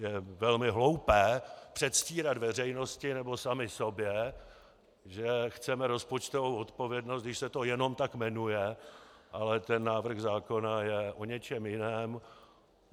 Je velmi hloupé předstírat veřejnosti nebo sami sobě, že chceme rozpočtovou odpovědnost, když se to jenom tak jmenuje, ale ten návrh zákona je o něčem jiném.